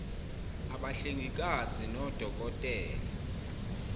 abahlengikazi nodoko tela